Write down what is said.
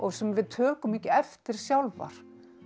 sem við tökum ekki eftir sjálfar